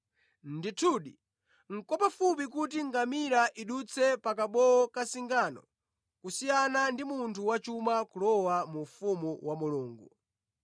Ndithudi, nʼkwapafupi kuti ngamira idutse pa kabowo ka zingano kusiyana ndi munthu wachuma kulowa mu ufumu wa Mulungu.”